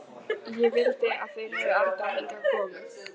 Ég vildi þeir hefðu aldrei hingað komið.